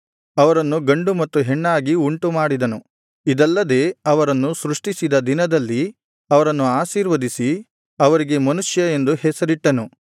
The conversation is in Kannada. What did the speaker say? ಅವರನ್ನು ಗಂಡು ಮತ್ತು ಹೆಣ್ಣಾಗಿ ಉಂಟು ಮಾಡಿದನು ಇದಲ್ಲದೆ ಅವರನ್ನು ಸೃಷ್ಟಿಸಿದ ದಿನದಲ್ಲಿ ಅವರನ್ನು ಆಶೀರ್ವದಿಸಿ ಅವರಿಗೆ ಮನುಷ್ಯ ಎಂದು ಹೆಸರಿಟ್ಟನು